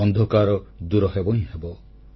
ଅନ୍ଧକାର ଦୂରହେବ ହିଁ ହେବ